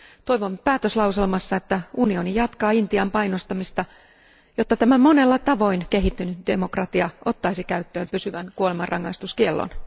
Toivon päätöslauselmassa, että Euroopan unioni jatkaa Intian painostamista, jotta tämä monella tavoin kehittynyt demokratia ottaisi käyttöön pysyvän kuolemanrangaistuskiellon.